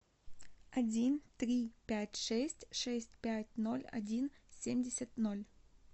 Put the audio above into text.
один три пять шесть шесть пять ноль один семьдесят ноль